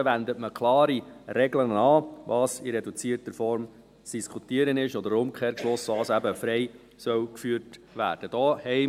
Hier wendet man klare Regeln an, was in reduzierter Form zu diskutieren ist oder umgekehrt und was eben als freie Debatte geführt werden soll.